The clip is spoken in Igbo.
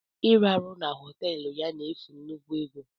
Iraru na họteelu ya n'efu nnukwu ego.